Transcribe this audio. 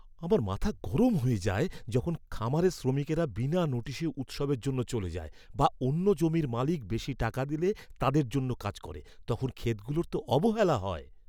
আমার মাথা গরম হয়ে যায় যখন খামারের শ্রমিকরা বিনা নোটিশে উৎসবের জন্য চলে যায় বা অন্য জমির মালিক বেশি টাকা দিলে তাদের জন্য কাজ করে। তখন ক্ষেতগুলোর তো অবহেলা হয়।